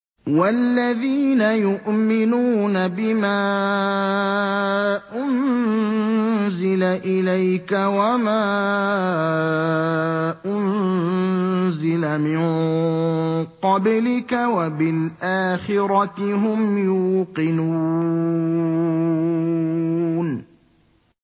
وَالَّذِينَ يُؤْمِنُونَ بِمَا أُنزِلَ إِلَيْكَ وَمَا أُنزِلَ مِن قَبْلِكَ وَبِالْآخِرَةِ هُمْ يُوقِنُونَ